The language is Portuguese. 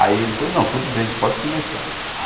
Aí ele falou, não, tudo bem, pode começar.